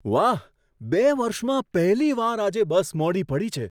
વાહ, બે વર્ષમાં પહેલી વાર આજે બસ મોડી પડી છે.